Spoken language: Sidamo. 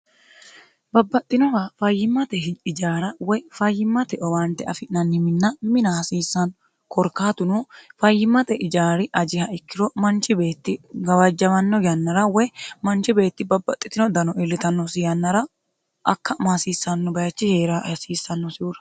babbaxxinowa fayyimmate ijaara woy fayyimmate owaante afi'nanni minna mina hasiissanno korkaatuno fayyimmate ijaari ajiha ikkiro manchi beetti gawajjamanno yannara woy manchi beetti babbaxxitino dano iillitannosi yannara akkama hasiissanno bayichi hee'ra hasiissannosihura